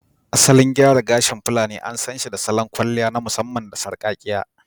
Asalin gyara gashi fulani an sanshi da salon kwalliya na musamman da sarƙakkiya